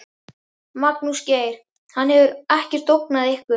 Magnús Geir: Hann hefur ekkert ógnað ykkur?